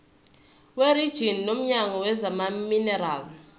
werijini womnyango wezamaminerali